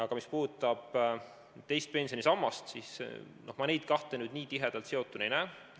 Aga mis puudutab teist pensionisammast, siis ma neid kahte teemat nii tihedalt seotuna ei näe.